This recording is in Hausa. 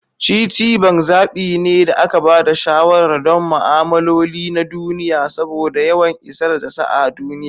Citibank zaɓi ne da aka ba da shawarar don ma'amaloli na duniya saboda yawan isar da sa a duniya.